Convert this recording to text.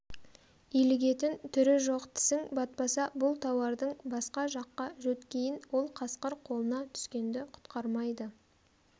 илігетін түрі жоқ тісің батпаса бұл тауардың басқа жаққа жөткейін ол қасқыр қолына түскенді құтқармайды